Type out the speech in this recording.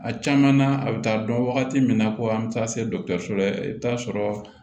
A caman na a bɛ taa dɔn wagati min na ko an bɛ taa se dɔ la i bɛ taa sɔrɔ